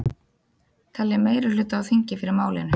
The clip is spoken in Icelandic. Telja meirihluta á þingi fyrir málinu